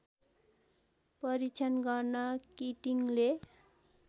परीक्षण गर्न किटिङले